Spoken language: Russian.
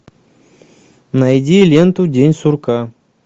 найди ленту день сурка